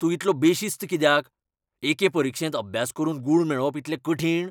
तूं इतलो बेशिस्त कित्याक ? एके परिक्षेंत अभ्यास करून गूण मेळोवप इतलें कठीण?